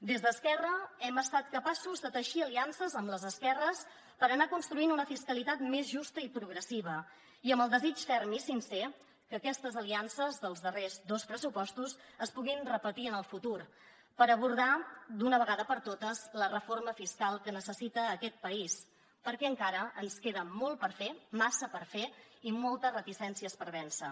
des d’esquerra hem estat capaços de teixir aliances amb les esquerres per anar construint una fiscalitat més justa i progressiva i amb el desig ferm i sincer que aquestes aliances dels darrers dos pressupostos es puguin repetir en el futur per abordar d’una vegada per totes la reforma fiscal que necessita aquest país perquè encara ens queda molt per fer massa per fer i moltes reticències per vèncer